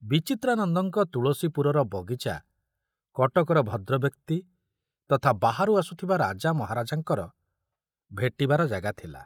ବିଚିତ୍ରାନନ୍ଦଙ୍କ ତୁଳସୀପୁରର ବଗିଚା କଟକର ଭଦ୍ରବ୍ୟକ୍ତି ତଥା ବାହାରୁ ଆସୁଥିବା ରାଜା ମହାରାଜାଙ୍କର ଭେଟିବାର ଜାଗା ଥିଲା।